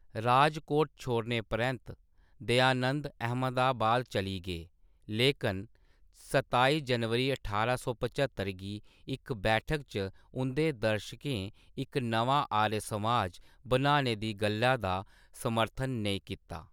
राजकोट छोड़ने परैंत्त, दयानंद अहमदाबाद चली गे, लेकन सताई जनवरी ठारां सौ पच्हत्तर गी इक बैठक च उं'दे दर्शकें इक नमां आर्य समाज बनाने दी गल्लै दा समर्थन नेईं कीता।